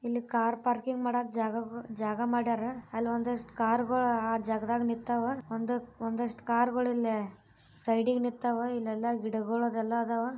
ಇಲ್ಲಿ car parking ಮಾಡಕ್ಕೆ ಜಾಗ ಮಾಡರ ಅಲ್ಲಿ ಒಂದಿಷ್ಟು ಕಾರ್ ಗಳೆಲ್ಲ ಆ ಜಾಗದಗ ನಿಂತವ ಒಂದು ಆದಷ್ಟು ಕಾರುಗಳು ಇಲ್ಲಿ ಸೈಡಿಗೆ ನಿಂತವ ಇಲ್ಲೆಲ್ಲ ಗಿಡಗಳ ಅದೆಲ್ಲ ಅದಾವ.